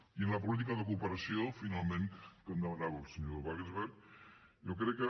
i en la política de cooperació finalment que em demanava el senyor wagensberg jo crec que